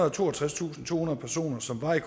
og toogtredstusindtohundrede personer som var i